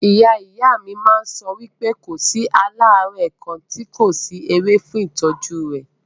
Ìyá ìyá mí máà ń sọ wípé kò sí àìlera kàn tí kò sí ewé fún ìtọ́jú rẹ̀.